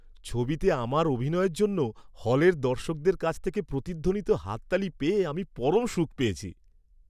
ছবিতে আমার অভিনয়ের জন্য হলের দর্শকদের কাছ থেকে প্রতিধ্বনিত হাততালি পেয়ে আমি পরম সুখ পেয়েছি!